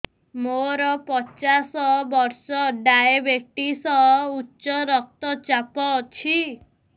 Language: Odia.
ମୋର ପଚାଶ ବର୍ଷ ଡାଏବେଟିସ ଉଚ୍ଚ ରକ୍ତ ଚାପ ଅଛି